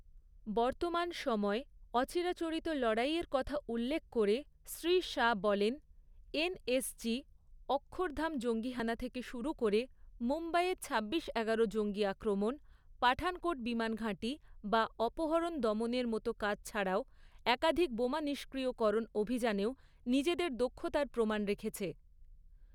বর্তমান সময়ে অচিরাচরিত লড়াইয়ের কথা উল্লেখ করে শ্রী শাহ্ বলেন, এনএসজি; অক্ষরধাম জঙ্গীহানা থেকে শুরু করে মুম্বাইয়ে ছাব্বিশ এগারো জঙ্গী আক্রমণ, পাঠানকোট বিমানঘাঁটি বা অপহরণ দমনের মতো কাজ ছাড়াও একাধিক বোমা নিষ্ক্রিয়করণ অভিযানেও নিজেদের দক্ষতার প্রমাণ রেখেছে।